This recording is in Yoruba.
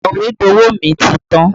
Sọ̀wédowó mi ti tán